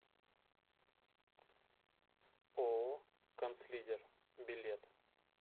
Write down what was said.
ооо канцлидер билет